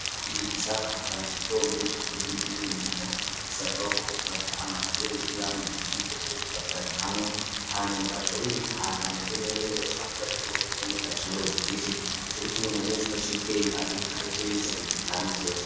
Uriko uriga ushaka kugira ngo uzomenye canke uzogire umwimbu mwiza bisabwa ko ufata amakaye wigiramwo, ivyo wize vyose ukavyandikamwo, hanyuma ugaca ubibika ahantu hameze neza bidacafura canke ngo vyononekare canke bifudike nico gituma umunyeshure aciye ubwenge abika ivyo yize akabibika hamwe vyose.